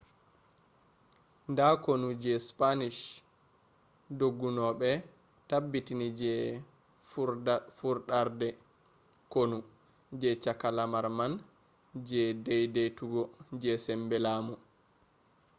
nda konu je spanish dongunoɓe tabbiti je furɗarde konu je cakka lamar man je dedeitugo je sembe lamu